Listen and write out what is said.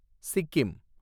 Sikkim